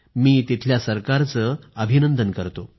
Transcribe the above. मी त्या तिथल्या सरकारचं अभिनंदन करतो